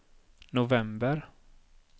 november